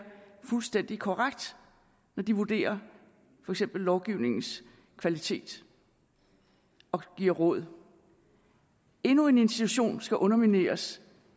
fuldstændig korrekt når de vurderer for eksempel lovgivningens kvalitet og giver råd endnu en institution skal undermineres